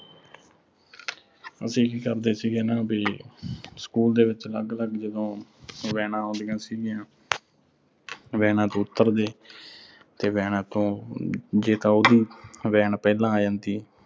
ਅਸੀਂ ਕੀ ਕਰਦੇ ਸੀਗੇ ਨਾ ਵੀ ਸਕੂਲ ਦੇ ਵਿੱਚ ਅਲੱਗ-ਅਲੱਗ ਜਦੋਂ vans ਆਉਂਦੀਆਂ ਸੀਗੀਆਂ। vans ਤੋਂ ਉਤਰਦੇ ਤੇ vans ਤੋਂ ਜੇ ਤਾ ਉਹਦੀ van ਪਹਿਲਾਂ ਆ ਜਾਂਦੀ